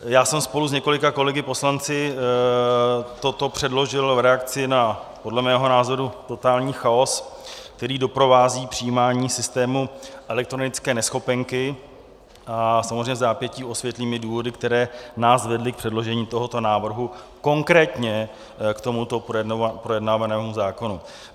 Já jsem spolu s několika kolegy poslanci toto předložil v reakci na podle mého názoru totální chaos, který doprovází přijímání systému elektronické neschopenky, a samozřejmě vzápětí osvětlím i důvody, které nás vedly k předložení tohoto návrhu, konkrétně k tomuto projednávanému zákonu.